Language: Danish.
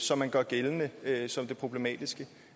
som man gør gældende som det problematiske